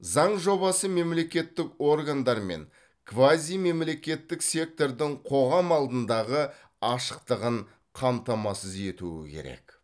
заң жобасы мемлекеттік органдар мен квазимемлекеттік сектордың қоғам алдындағы ашықтығын қамтамасыз етуі керек